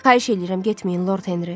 Xahiş eləyirəm getməyin, Lord Henri.